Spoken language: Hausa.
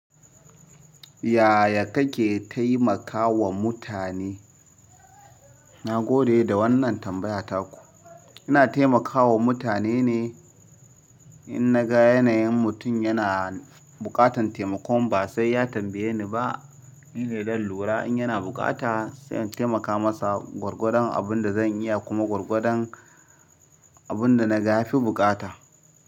Yaya kake taimakawa mutane? Na gode da wannan tambaya taku. Ina taimakawa mutane ne in naga yanayin mutum yana buƙatan taimakon ba sai ya tambaye ni ba. Ni ne dan lura in yana buƙata sai in taimaka masa gwargwadon abin da zan iya kuma gwargwadon abin da na ga ya fi buƙata.